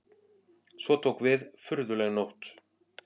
Svo tók við furðuleg nótt.